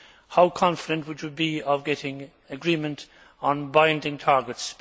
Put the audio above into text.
how confident would you be of getting agreement on binding targets?